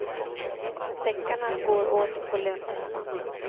Deckarna går åt på löpande band.